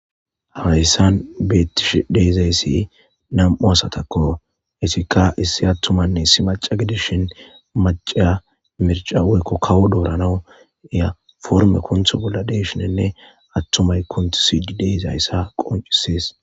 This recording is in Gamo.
hawayssan beettish deezayssi nam7u asatakko etika issi attumanne issi maca gedishin macaa mirca weykko kawo doorana iya forme kuntho bolla deshinenne attumay kunti sidi deezayssa qoncisees